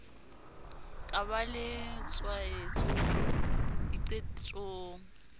ka ba le tswaetso diqetong